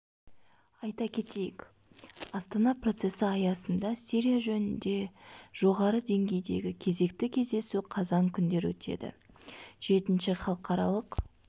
айта кетейік астана процесі аясында сирия жөнінде жоғары деңгейдегі кезекті кездесу қазан күндері өтеді жетінші халықаралық